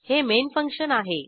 हे main function आहे